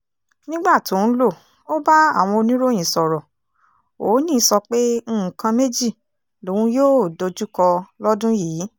nígbà tó ń lò ó bá àwọn oníròyìn sọ̀rọ̀ òónì sọ pé nǹkan méjì lòun yóò dojúkọ lọ́dún yìí